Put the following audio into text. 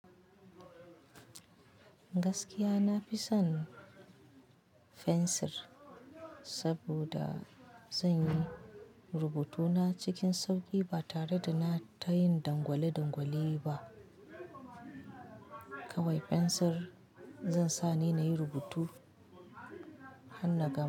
Gaskiya nafison fensir, saboda zanyi rubutuna cikin sauki ba tare da na ta yin dangwale-dangwale ba. Kawai fensir zai sa ni nayi rubutu har na gama.